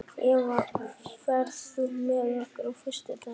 Eva, ferð þú með okkur á föstudaginn?